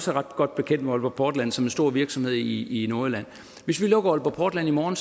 ret godt bekendt med aalborg portland som en stor virksomhed i nordjylland hvis vi lukker aalborg portland i morgen